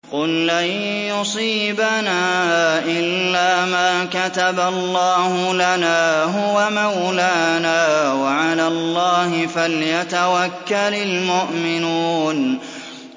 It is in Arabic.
قُل لَّن يُصِيبَنَا إِلَّا مَا كَتَبَ اللَّهُ لَنَا هُوَ مَوْلَانَا ۚ وَعَلَى اللَّهِ فَلْيَتَوَكَّلِ الْمُؤْمِنُونَ